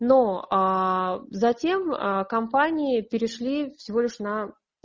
но затем компании перешли всего лишь на